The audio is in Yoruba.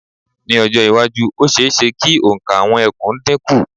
Ní ọjọ́-iwájú, ó ṣe-é-ṣe kí òǹkà àwọn ẹkùn dínkù.